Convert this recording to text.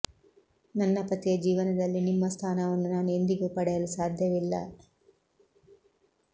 ನನ್ನ ಪತಿಯ ಜೀವನದಲ್ಲಿ ನಿಮ್ಮ ಸ್ಥಾನವನ್ನು ನಾನು ಎಂದಿಗೂ ಪಡೆಯಲು ಸಾಧ್ಯವಿಲ್ಲ